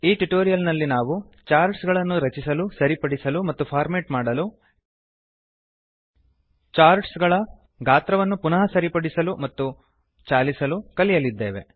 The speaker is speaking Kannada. ಈ ಟ್ಯುಟೋರಿಯಲ್ ನಲ್ಲಿ ನಾವು ಚಾರ್ಟ್ ಗಳನ್ನು ರಚಿಸಲು ಸರಿಪಡಿಸಲು ಮತ್ತು ಫಾರ್ಮೇಟ್ ಮಾಡಲು ಚಾರ್ಟ್ ಗಳ ಗಾತ್ರವನ್ನು ಪುನಃ ಸರಿಪಡಿಸಲು ಮತ್ತು ಚಾಲಿಸಲು ಕಲಿಯಲಿದ್ದೇವೆ